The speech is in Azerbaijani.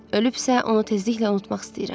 Ölübsə, onu tezliklə unutmaq istəyirəm.